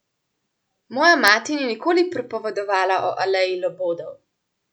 Moja mati ni nikoli pripovedovala o aleji Labodov.